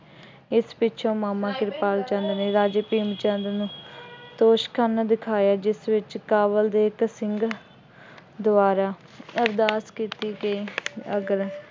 ਇਸ ਪਿੱਛੋ ਮਾਮਾ ਕਿਰਪਾਲ ਚੰਦ ਨੇ ਰਾਜੇ ਭੀਮ ਚੰਦ ਨੂੰ ਤੋਸ਼ਖਾਨਾ ਦਿਖਾਇਆ, ਜਿਸ ਵਿੱਚ ਕਾਬੁਲ ਦੇ ਇੱਕ ਸਿੰਘ ਦੁਆਰਾ ਅਰਦਾਸ ਕੀਤੀ ਅਤੇ ਅਗਲਾ